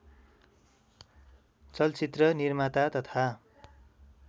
चलचित्र निर्माता तथा